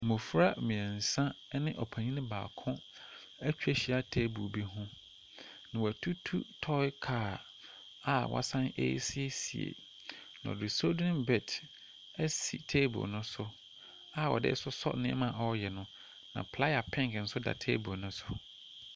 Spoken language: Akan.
Mmofra mmeɛnsa ɛne ɔpanin baako atwa ahyia teebol bi ho. Na watutu tɔe kaa a wasan ɛɛsiesie, na ɔde solderen bɛt asi teebol no so a ɔdee sosɔ nneɛma ɔɔyɛ no, na playa penk nso da teebol no so.